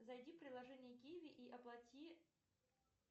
зайди в приложение киви и оплати